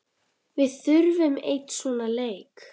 Við þurfum einn svona leik.